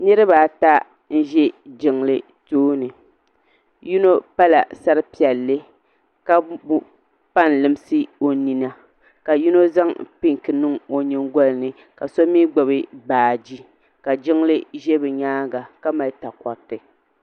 Niriba ata n-ʒe jiŋli tooni yino pala sar'piɛlli ka pa n-limsi o nina ka yino zaŋ pinki niŋ o nyingɔli ni ka so mi gbubi baaji ka jiŋli ʒe bɛ nyaaŋa ka mali takoriti.